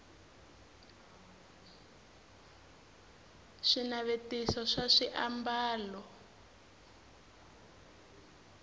swinavetiso swa swiambalo